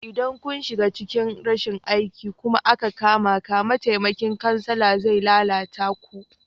Idan kun shiga cikin rashin aiki kuma aka kamaka, mataimakin kansala zai lalata ku.